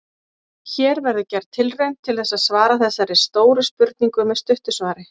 Hér verður gerð tilraun til þess að svara þessari stóru spurningu með stuttu svari.